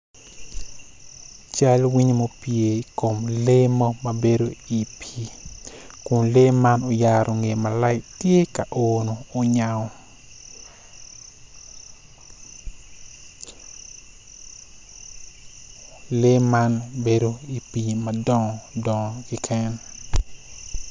Cal winyo mo ma opye i kom lee mo ma abedo i pi ku lee man oyaro ngee malac tye uno onyango, lee man bedo i pi madongo dongo keken.